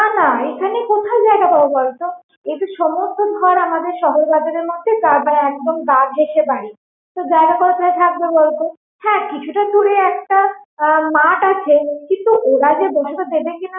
না না এখানে কোথায় জায়গা পাবো বলতো? এইযে সমস্ত ঘর আমাদের শহর বাজারের মধ্যে তারপর একদম গা ঘেসে বাড়ি, তো জায়গা কোথায় থাকবে বলতো? হ্যাঁ কিছুটা দূরে একটা আহ মাঠ আছে কিন্তু ওরা যে বসাতে দেবে কিনা